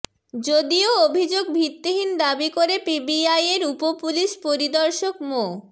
যদিও অভিযোগ ভিত্তিহীন দাবি করে পিবিআইয়ের উপপুলিশ পরিদর্শক মো